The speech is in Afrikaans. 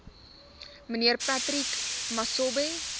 mnr patrick masobe